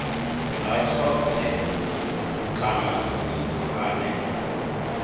ha tshothe kana muthu ane